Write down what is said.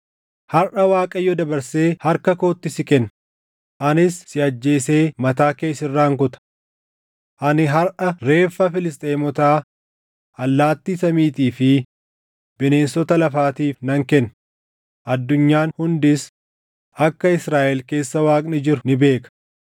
Harʼa Waaqayyo dabarsee harka kootti si kenna; anis si ajjeesee mataa kee sirraan kuta. Ani harʼa reeffa Filisxeemotaa allaattii samiitii fi bineensota lafaatiif nan kenna; addunyaan hundis akka Israaʼel keessa Waaqni jiru ni beeka.